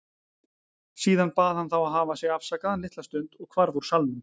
Síðan bað hann þá að hafa sig afsakaðan litla stund og hvarf úr salnum.